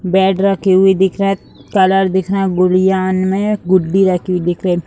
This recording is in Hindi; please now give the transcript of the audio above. बेड रखे हुए दिख रहा हैं कलर दिख रहा हैं गुड़ियान में गुड्डी रखी हुई दिख रही हैं।